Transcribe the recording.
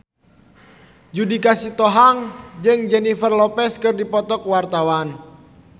Judika Sitohang jeung Jennifer Lopez keur dipoto ku wartawan